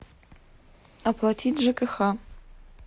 оплатить жкх